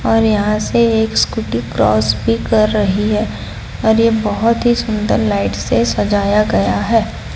और यहां से एक स्कूटी क्रॉस भी कर रही हैं और यह बहोत ही सुंदर लाइट से सजाया गया है।